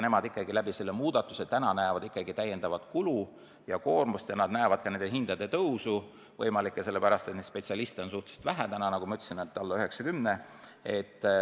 Nemad ikkagi näevad selle muudatuse taga täiendavat kulu ja koormust ja näevad ka nende hindade tõusu, seda sellegi pärast, et neid spetsialiste on suhteliselt vähe: nagu ma ütlesin, alla 90.